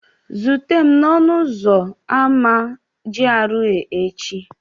Zute m n'ọnụ ụzọ ámá GRA echi!